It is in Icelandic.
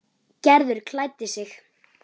Gerður klæddi sig.